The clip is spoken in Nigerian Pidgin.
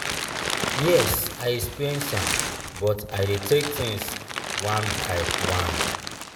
yes i experience am but i dey take things one by one.